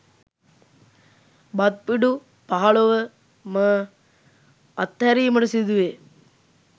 බත් පිඬු පහළොව ම අත්හැරීමට සිදුවේ.